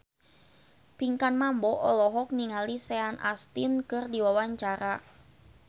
Pinkan Mambo olohok ningali Sean Astin keur diwawancara